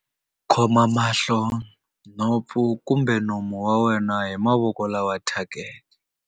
Khoma mahlo, nhompfu kumbe nomo wa wena hi mavoko lama thyakeke.